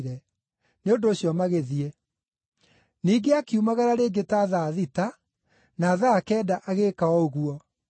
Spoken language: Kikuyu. Nĩ ũndũ ũcio magĩthiĩ. “Ningĩ akiumagara rĩngĩ ta thaa thita, na thaa kenda agĩĩka o ũguo.